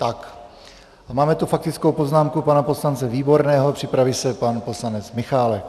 A máme tu faktickou poznámku pana poslance Výborného, připraví se pan poslanec Michálek.